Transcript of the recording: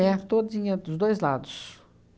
todinha dos dois lados.